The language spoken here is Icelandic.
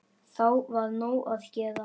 Þá var nóg að gera.